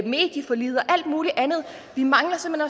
medieforliget og alt muligt andet vi mangler simpelt